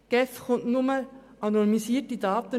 Die GEF erhält nur anonymisierte Daten.